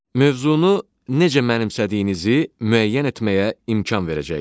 Mövzunu necə mənimsədiyinizi müəyyən etməyə imkan verəcəkdir.